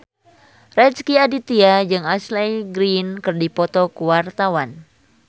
Rezky Aditya jeung Ashley Greene keur dipoto ku wartawan